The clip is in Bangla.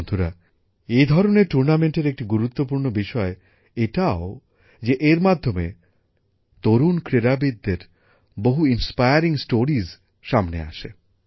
বন্ধুরা এই ধরনের টুর্নামেন্টের একটি গুরুত্বপূর্ণ বিষয় এটাও যে এর মাধ্যমে তরুণ ক্রীড়াবিদদের বহু অনুপ্রেরণাদায়ক ঘটনা সামনে আসে